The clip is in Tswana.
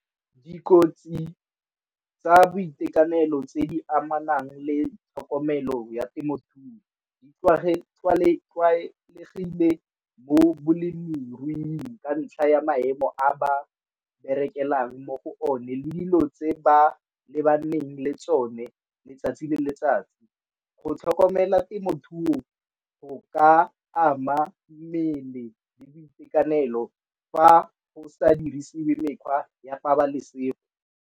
Dikotsi tsa boitekanelo tse di amanang le tlhokomelo ya temothuo di tlwaelegile mo bolemiruing ka ntlha ya maemo a ba berekelang mo go o ne le dilo tse ba lebaneng le tsone letsatsi le letsatsi. Go tlhokomela temothuo go ka ama mmele le boitekanelo fa go sa dirisiwe mekgwa ya pabalesego.